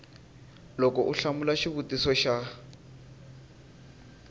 loko u hlamula xivutiso xa